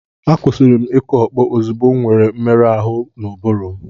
Akwụsịrị m ịkụ ọkpọ ozugbo m nwere mmerụ ahụ n'ụbụrụ m.